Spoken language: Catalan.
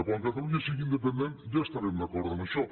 quan catalunya sigui independent ja estarem d’acord amb això